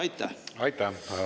Aitäh!